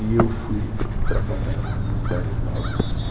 E eu fui trabalhar com metais nobres.